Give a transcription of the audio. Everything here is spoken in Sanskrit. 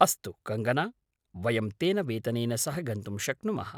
अस्तु, कङ्गना, वयं तेन वेतनेन सह गन्तुं शक्नुमः।